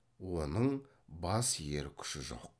оның бас иер күші жоқ